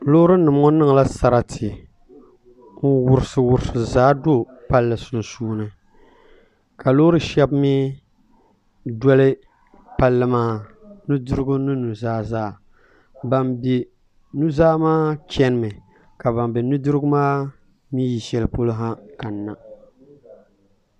Loorinima ŋɔ niŋla sariti n-wɔrisiwɔrisi zaa n-do palli sunsuuni ka loori shɛba mi doli palli maa nudirigu ni nuzaa zaa ban be nuzaa maa chanimi ka ban be nudiri maa mi yi shɛli polo kanina